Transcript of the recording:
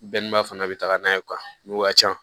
Bɛɛ n'i ma fana bɛ taga n'a ye nun ka ca